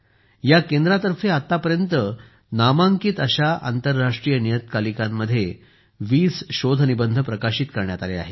या केंद्रातर्फे आतापर्यंत नामांकित आंतरराष्ट्रीय नियतकालिकांमध्ये 20 शोधनिबंध प्रकाशित करण्यात आले आहेत